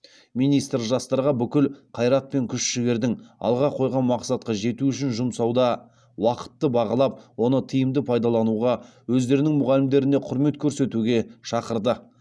министр жастарға бүкіл қайрат пен күш жігердің алға қойған мақсатқа жету үшін жұмсауда уақытты бағалап оны тиімді пайдалануға өздерінің мұғалімдеріне құрмет көрсетуге шақырды